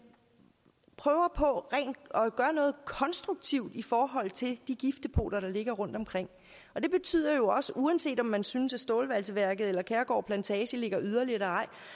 prøver på at gøre noget konstruktivt i forhold til de giftdepoter der ligger rundtomkring det betyder jo også uanset om man synes at stålvalseværket eller kærgård plantage ligger yderligt at